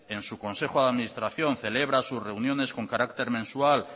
en su consejo de administración celebra sus reuniones con carácter mensual